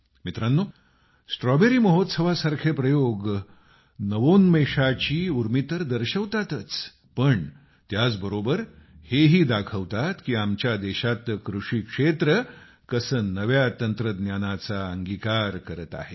मित्रांनो स्ट्रॉबेरी महोत्सवासारखे प्रयोग नवोन्मेषाची उर्मी तर दर्शवतातच पण त्याच बरोबर हे ही दाखवतात की आमच्या देशातलं कृषिक्षेत्र कसा नव्या तंत्रज्ञानाचा अंगीकार करत आहे